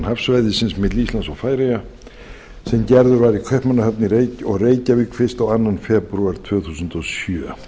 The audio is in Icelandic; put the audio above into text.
hafsvæðisins milli íslands og færeyja sem gerður var í kaupmannahöfn og reykjavík fyrstu og annan febrúar tvö þúsund og sjö